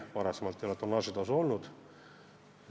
Varem ei ole tonnaažitasu olnud.